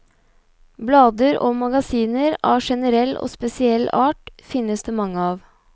Blader og magasiner av generell og spesiell art finnes det mange av.